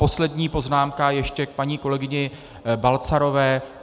Poslední poznámka ještě k paní kolegyni Balcarové.